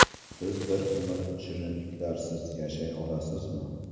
Siz bir umr shirinliklarsiz yashay olasizmi?